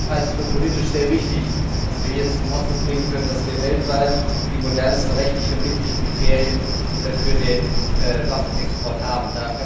halte es für politisch sehr wichtig, dass wir hier zum Ausdruck bringen können, dass wir weltweit die modernsten rechtlich verbindlichen Kriterien für den Waffenexport haben.